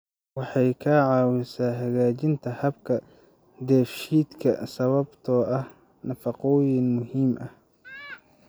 Waxay ka caawisaa hagaajinta habka dheefshiidka sababtoo ah nafaqooyinka muhiimka ah.